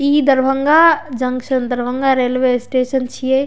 इ Darbhanga junction Darbhanga railway station छिये।